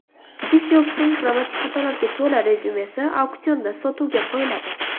Stiv Jobsning grammatik xatolarga to‘la rezyumesi auksionda sotuvga qo‘yiladi.